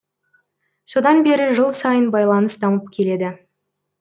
содан бері жыл сайын байланыс дамып келеді